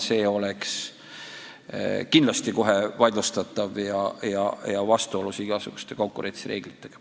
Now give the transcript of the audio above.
See oleks kindlasti kohe vaidlustatav ja vastuolus igasuguste konkurentsireeglitega.